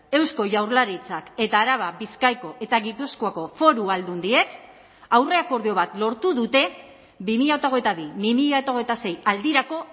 eusko jaurlaritzak eta araba bizkaiko eta gipuzkoako foru aldundiek aurre akordio bat lortu dute bi mila hogeita bi bi mila hogeita sei aldirako